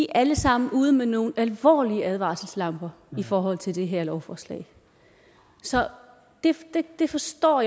alle sammen er ude med nogle alvorlige advarselslamper i forhold til det her lovforslag så jeg forstår